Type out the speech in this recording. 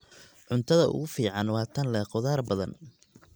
Cuntada ugu fiican waa tan leh khudaar badan.